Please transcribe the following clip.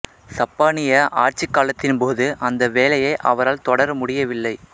சப்பானிய ஆட்சிக் காலத்தின் போது அந்த வேலையை அவரால் தொடர முடியவில்லை